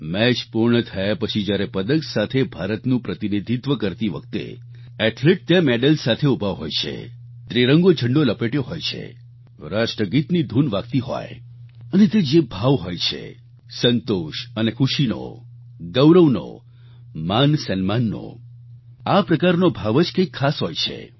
match પૂર્ણ થયા પછી જ્યારે પદક સાથે ભારતનું પ્રતિનિધિત્વ કરતી વખતે એથ્લેટ ત્યાં મેડલ સાથે ઉભા હોય છે ત્રિરંગો ઝંડો લપેટ્યો હોય છે રાષ્ટ્રગીતની ધૂન વાગતી હોય અને તે જે ભાવ હોય છે સંતોષ અને ખુશીનો ગૌરવનો માનસન્માનનો આ પ્રકારનો ભાવ જ કંઇક ખાસ હોય છે